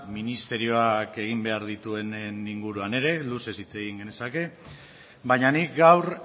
ministerioak egin behar dituenen inguruan ere luzez hitz egin genezake baina nik gaur